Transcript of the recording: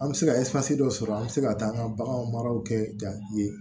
An bɛ se ka dɔ sɔrɔ an bɛ se ka taa an ka bagan maraw kɛ